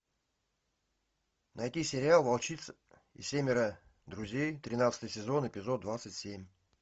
найти сериал волчица и семеро друзей тринадцатый сезон эпизод двадцать семь